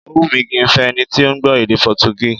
Ó wùn mí kí n fẹ́ ẹni tí ó gbọ́ èdè Potogí